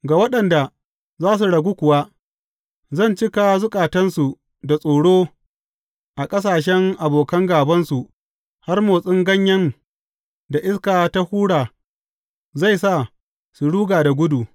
Ga waɗanda za su ragu kuwa, zan cika zukatansu da tsoro a ƙasashen abokan gābansu har motsin ganyen da iska ta hura zai sa su ruga da gudu.